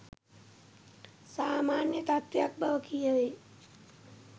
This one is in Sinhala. සාමාන්‍ය තත්වයක් බව කියවේ